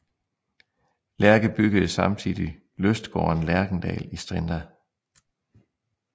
Lerche byggede samtidig lystgården Lerchendal i Strinda